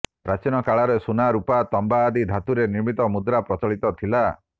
ପ୍ରାଚୀନକାଳରେ ସୁନା ରୂପା ତମ୍ବା ଆଦି ଧାତୁରେ ନିର୍ମିତ ମୁଦ୍ରା ପ୍ରଚଳିତ ଥିଲା